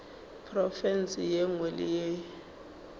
profense ye nngwe le ye